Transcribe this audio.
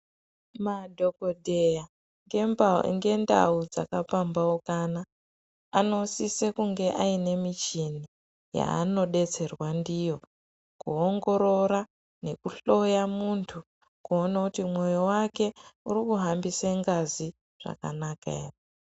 Madhokodheya ngendau dzakapambaukana anosise kunge ane muchini yaanodetserwa ndiyo kuongorora nekuhloya mundu kuona kuti mwoyo wake urikuhambisa ngazi zvakanaka ere.